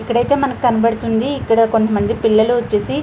ఇక్కడైతే మనకి కనబడతుంది ఇక్కడ కొంత మంది పిల్లలు వచ్చేసి --